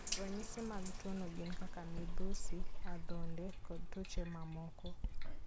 Ranyisi mag tuwono gin kaka midhusi, adhonde, kod tuoche mamoko.